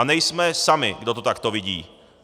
A nejsme sami, kdo to takto vidí.